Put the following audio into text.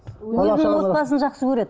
отбасын жақсы көреді